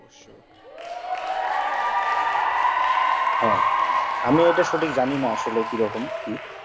হ্যাঁ আমিএটা সঠিক জানি না আসলে কি রকম কি